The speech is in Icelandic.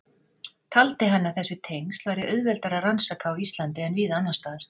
Taldi hann að þessi tengsl væri auðveldara að rannsaka á Íslandi en víða annars staðar.